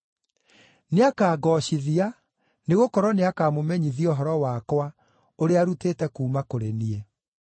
Nĩakangoocithia nĩgũkorwo nĩakamũmenyithia ũhoro wakwa ũrĩa arutĩte kuuma kũrĩ niĩ.